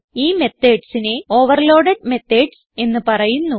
ഈ methodsനെ overload methods എന്ന് പറയുന്നു